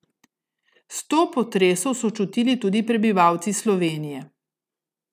Sto potresov so čutili tudi prebivalci Slovenije.